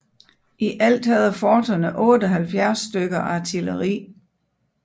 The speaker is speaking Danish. I alt havde forterne 78 stykker artilleri